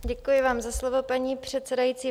Děkuji vám za slovo, paní předsedající.